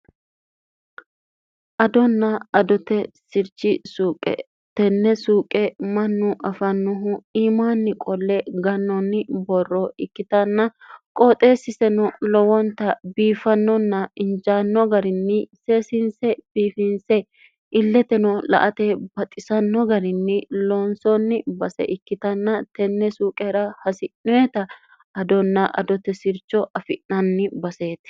adonna adote sirchi suuqe tenne suuqe mannu afannohu iimaanni qolle gannoonni borro ikkitanna qooxeessiseno lowonta biiffannonna injaanno garinni seesiinse biifinse illeteno la ate baxxisanno garinni loonsoonni base ikkitanna tenne suuqera hasi'noeta adonna adote sircho afi'nanni baseeti